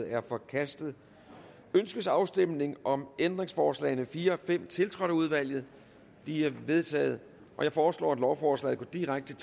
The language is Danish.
er forkastet ønskes afstemning om ændringsforslag nummer fire og fem tiltrådt af udvalget de er vedtaget jeg foreslår at lovforslaget går direkte